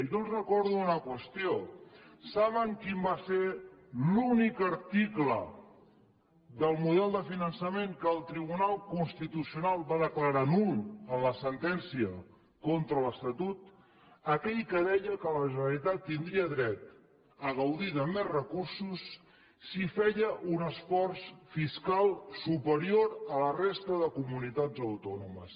jo els recordo una qüestió saben quin va ser l’únic article del model de finançament que el tribunal constitucional va declarar nul en la sentència contra l’estatut aquell que deia que la generalitat tindria dret a gaudir de més recursos si feia un esforç fiscal superior a la resta de comunitats autònomes